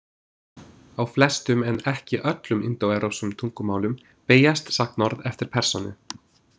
Á flestum en ekki öllum indóevrópskum tungumálum beygjast sagnorð eftir persónu.